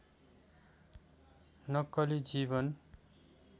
नक्कली जीवन